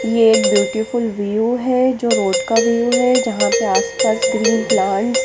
ये एक beautiful view है जो रोड का व्यू है जहा पर आस पास ग्रीन प्लांट्स --